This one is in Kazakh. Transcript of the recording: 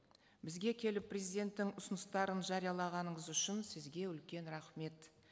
бізге келіп президенттің ұсыныстарын жариялағаныңыз үшін сізге үлкен рахмет